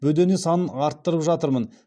бөдене санын арттырып жатырмын